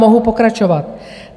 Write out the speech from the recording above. Mohu pokračovat.